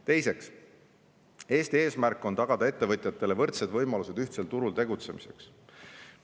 Teiseks, Eesti eesmärk on tagada ettevõtjatele võrdsed võimalused ühtsel turul tegutsemiseks.